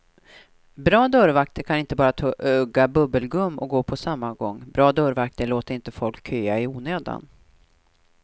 Bra dörrvakter kan inte bara tugga bubbelgum och gå på samma gång, bra dörrvakter låter inte folk köa i onödan.